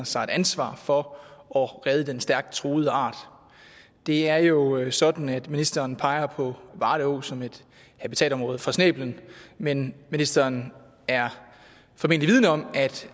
sig et ansvar for at redde den stærkt truede art det er jo sådan at ministeren peger på varde å som et habitatområde for snæblen men ministeren er formentlig vidende om at